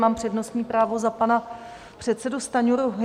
Mám přednostní právo za pana předsedu Stanjuru.